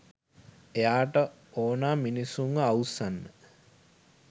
එයාට ඕනා මිනිස්සුන්ව අවුස්සන්න